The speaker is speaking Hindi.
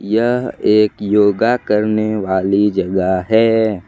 यह एक योगा करने वाली जगह है।